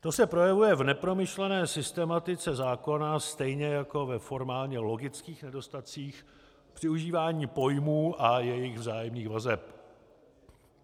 To se projevuje v nepromyšlené systematice zákona stejně jako ve formálně logických nedostatcích při užívání pojmů a jejich vzájemných vazeb.